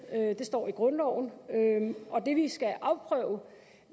det står i grundloven og det vi skal afprøve